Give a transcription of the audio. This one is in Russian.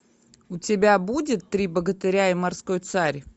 у тебя будет три богатыря и морской царь